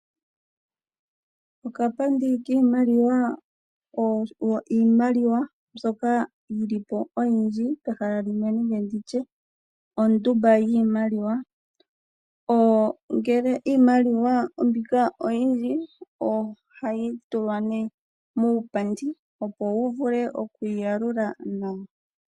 Okapandi kiimaliwa oyo iimaliwa mbyoka yi li po oyindji pehala limwe nenge nditye ondumba yiimaliwa ngele iimaliwa mbika oyindji ohayi tulwa nee muupandi opo wu vule okwiiyalula nawa.